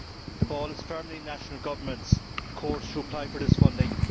The ball is firmly in national governments' courts to apply for this funding.